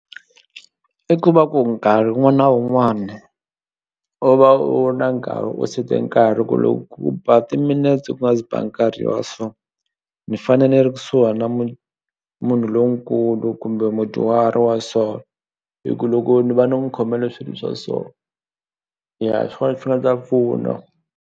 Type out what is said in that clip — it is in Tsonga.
I ku va ku nkarhi wun'wana na wun'wani u va u ri na nkarhi u sete nkarhi ku loko ku ba timinetse ku nga se ba nkarhi wa so ni fane ni ri kusuhana na munhu lonkulu kumbe mudyuhari wa so hi ku loko ni va ni n'wi khomele swilo swa so ya hi swona swi nga ta pfuna.